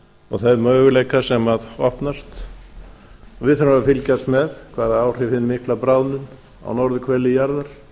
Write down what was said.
og þá möguleika sem opnast við þurfum að fylgjast með hvaða áhrif hin mikla bráðnun á norðurhveli jarðar